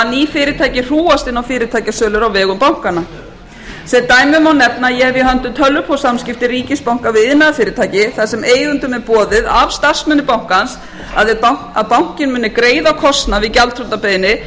fyrirtæki hrúgast inn á fyrirtækjasölur á vegum bankanna sem dæmi má nefna að ég hef í höndum tölvupóstssamskipti við ríkisbanka við iðnaðarfyrirtæki þar sem eigendum er boðið af starfsmönnum bankans að bankinn mun greiða kostnað við gjaldþrotabeiðni ef